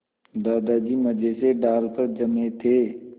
दादाजी मज़े से डाल पर जमे थे